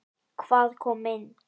Hvað kom inn?